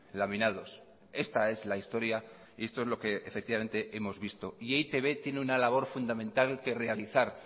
laminados esta es la historia y esto es lo que hemos visto y e i te be tiene una labor fundamental que realizar